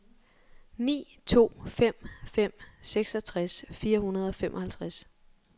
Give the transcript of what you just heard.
ni to fem fem seksogtres fire hundrede og otteoghalvfems